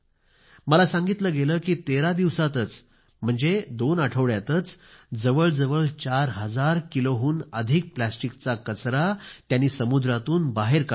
मला सांगितलं गेलं की तेरा दिवसातच म्हणजे दोन आठवड्यातच जवळ जवळ चार हजार किलोहून अधिक प्लास्टिकचा कचरा त्यांनी समुद्रातून बाहेर काढला आहे